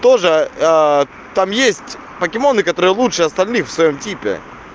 тоже там есть покемоны которые лучше остальных в своём типе